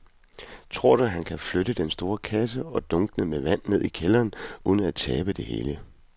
Tror du, at han kan flytte den store kasse og dunkene med vand ned i kælderen uden at tabe det hele?